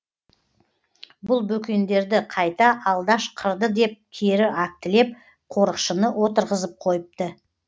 бұл бөкендерді қайта алдаш қырды деп кері актілеп қорықшыны отырғызып қойыпты